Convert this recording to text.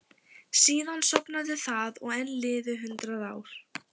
Síðan sofnaði það og enn liðu hundrað ár.